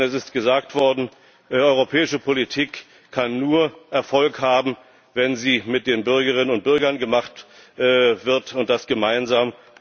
Denn es ist gesagt worden, europäische Politik kann nur Erfolg haben, wenn sie mit den Bürgerinnen und Bürgern gemacht wird, und das gemeinsam.